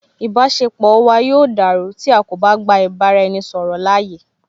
Ìbáṣepọ̀ wa yóò dàrú tí a kò bá gba ìbá ra ẹni ṣọ̀rọ̀ láàyè